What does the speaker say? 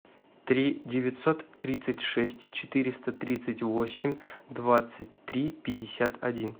три девятьсот тридцать шесть четыреста тридцать восемь двадцать три пятьдесят один